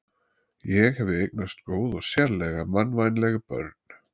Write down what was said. Ég hefi eignast góð og sérlega mannvænleg börn.